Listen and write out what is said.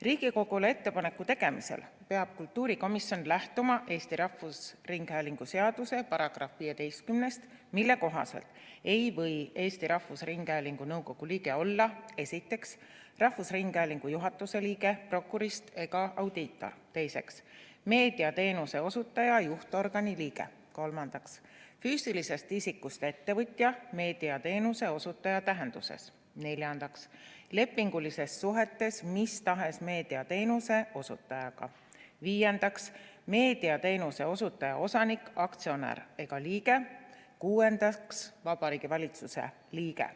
Riigikogule ettepaneku tegemisel peab kultuurikomisjon lähtuma Eesti Rahvusringhäälingu seaduse §-st 15, mille kohaselt ei või Eesti Rahvusringhäälingu nõukogu liige olla, esiteks, Rahvusringhäälingu juhatuse liige, prokurist ega audiitor; teiseks, meediateenuse osutaja juhtorgani liige; kolmandaks, füüsilisest isikust ettevõtja meediateenuse osutaja tähenduses; neljandaks, lepingulistes suhetes mis tahes meediateenuse osutajaga; viiendaks, meediateenuse osutaja osanik, aktsionär ega liige; kuuendaks, Vabariigi Valitsuse liige.